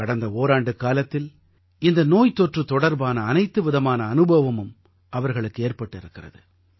கடந்த ஓராண்டுக்காலத்தில் இந்த நோய்த்தொற்று தொடர்பான அனைத்து விதமான அனுபவமும் அவர்களுக்கு ஏற்பட்டிருக்கிறது